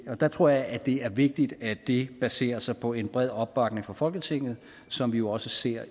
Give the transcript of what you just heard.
der tror jeg at det er vigtigt at det baserer sig på en bred opbakning fra folketinget som vi også ser